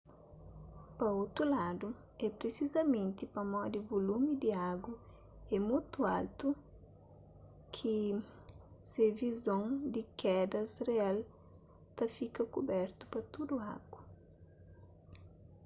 pa otu ladu é prisizamenti pamodi volumi di agu é mutu altu ki se vizon di kedas real ta fika kubertu-pa tudu agu